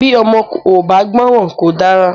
Bí ọmọ ò bá gbọ́ran kò dára.